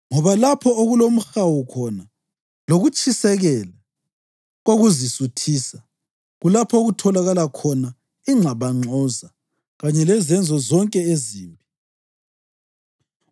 Ngoba lapho okulomhawu khona lokutshisekela kokuzisuthisa kulapho okutholakala khona ingxabangxoza kanye lezenzo zonke ezimbi.